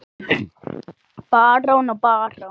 Barón og barón